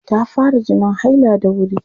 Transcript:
Ta fara jinin haila da wuri.